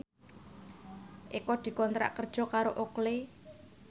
Eko dikontrak kerja karo Oakley